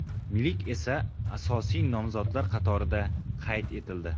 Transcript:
Milik esa asosiy nomzodlar qatorida qayd etildi.